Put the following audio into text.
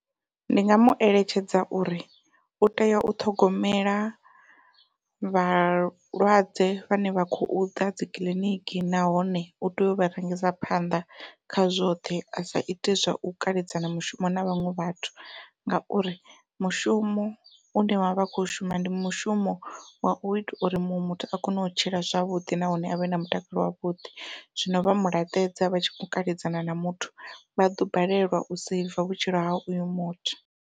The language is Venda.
Ndi nga mueletshedza uri u tea u ṱhogomela vhalwadze vhane vha khou ḓa dzikiḽiniki nahone u tea u vha rangisa phanḓa kha zwoṱhe a sa iti zwa u kaledzana mushumo na vhaṅwe vhathu, ngauri mushumo une vhavha vha kho shuma ndi mushumo wau ita uri muṅwe muthu a kone u tshila zwavhuḓi nahone avhe na mutakalo wavhuḓi zwino vha mulaṱedza vha tshi kho kaledzana na muthu vha ḓo balelwa u seiva vhutshilo ha uyo muthu.